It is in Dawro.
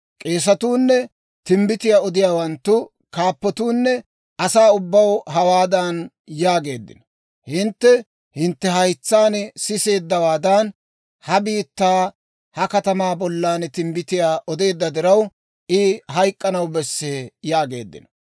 K'eesetuunne timbbitiyaa odiyaawanttu kaappatoonne asaa ubbaw hawaadan yaageeddino; «Hintte hintte haytsaan siseeddawaadan, ha bitanii ha katamaa bollan timbbitiyaa odeedda diraw, I hayk'k'anaw bessee!» yaageeddino.